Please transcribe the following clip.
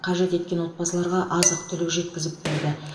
қажет еткен отбасыларға азық түлік жеткізіп берді